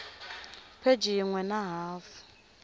pheji yin we na hafu